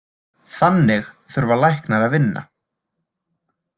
Þannig þurfa læknar að vinna.